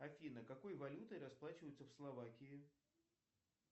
афина какой валютой расплачиваются в словакии